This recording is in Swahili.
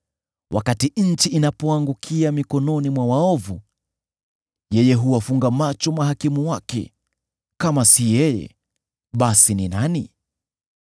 Wakati nchi inapoangukia mikononi mwa waovu, yeye huwafunga macho mahakimu wake. Kama si yeye, basi ni nani?